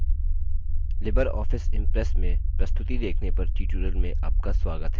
Libre office Impress में प्रस्तुति देखने पर ट्यूटोरियल में आपका स्वागत है